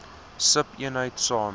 sub eenheid saam